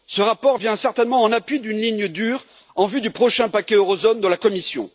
Ce rapport vient certainement en appui d'une ligne dure en vue du prochain paquet zone euro de la Commission.